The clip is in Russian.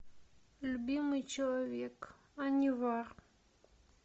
любимый человек анивар